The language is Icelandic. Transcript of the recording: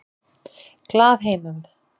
Glaðheimum